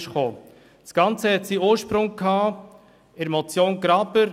Das Ganze hatte seinen Ursprung in der Motion Graber.